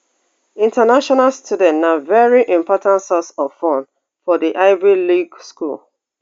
international students na veri important source of funds for di ivy league school